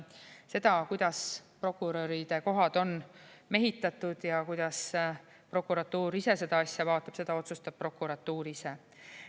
Seda, kuidas prokuröride kohad on mehitatud ja kuidas prokuratuur seda asja vaatab, otsustab prokuratuur ise.